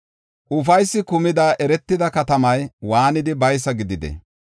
Ufaysi kumida eretida katamay waanidi baysa gididee?